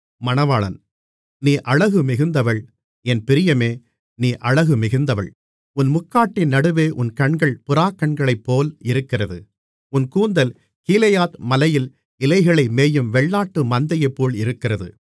நீ அழகு மிகுந்தவள் என் பிரியமே நீ அழகு மிகுந்தவள் உன் முக்காட்டின் நடுவே உன் கண்கள் புறாக்கண்களைப்போல் இருக்கிறது உன் கூந்தல் கீலேயாத் மலையில் இலைகளை மேயும் வெள்ளாட்டு மந்தையைப்போல் இருக்கிறது